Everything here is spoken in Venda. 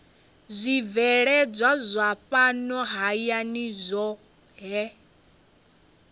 zwibveledzwa zwa fhano hayani zwohe